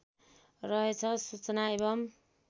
रहेछ सूचना एवम्